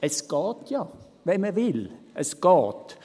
Es geht ja, wenn man will, es geht.